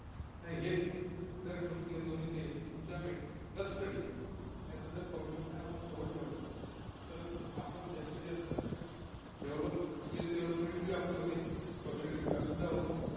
हेच जर ठेवून दोन्ही enjoyment plus study हे असं जर combination सोबत ठेवलं तर आपण जास्तीजास्त developskill development ही आपली होते. कौशल्य विकाससुद्धा होतो.